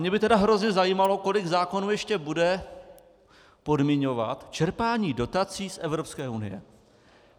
Mě by tedy hrozně zajímalo, kolik zákonů ještě bude podmiňovat čerpání dotací z Evropské unie.